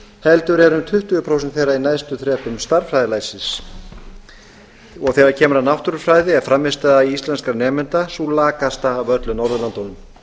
heldur eru um tuttugu prósent þeirra í neðstu þrepum stærðfræðilæsis þegar kemur að náttúrufræði er frammistaða íslenskra nemenda sú lakasta af öllum norðurlöndunum